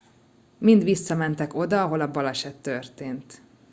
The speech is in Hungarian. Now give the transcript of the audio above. mind visszamentek oda ahol a baleset történt